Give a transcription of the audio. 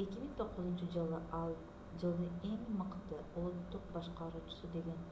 2009-жылы ал жылдын эң мыкты улуттук башкаруучусу деген